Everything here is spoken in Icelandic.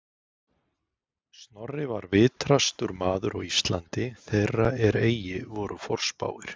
Snorri var vitrastur maður á Íslandi þeirra er eigi voru forspáir